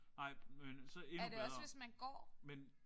Nej men så endnu bedre men